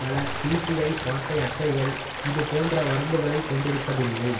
பல பிசிஐ பாட்டை அட்டைகள் இது போன்ற வரம்புகளைக் கொண்டிருப்பதில்லை